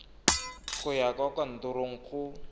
go ya kwa kantorong go